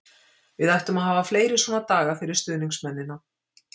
Við ættum að hafa fleiri svona daga fyrir stuðningsmennina.